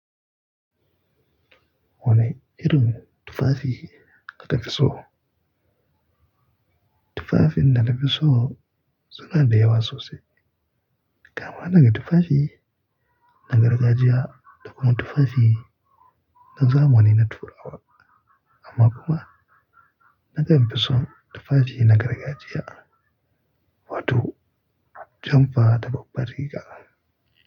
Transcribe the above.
Wane irin tufafi ka ka fi so? Tufafin da na fi so suna da yawa sosai. Kama daga tufafi na gargajiya da kuma tufafi na zamani na turawa. Amma kuma na kan fi son tufafi na gargajiya, wato jamfa da babbar riga.